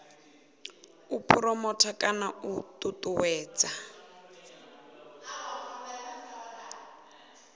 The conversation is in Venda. u phuromotha kana u ṱuṱuwedza